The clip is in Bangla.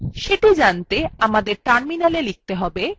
সেটি জানতে আমাদের টার্মিনালwe লিখতে হবে